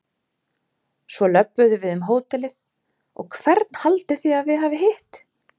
Svo löbbuðu við um hótelið og hvern haldið þið að við hafi hitt?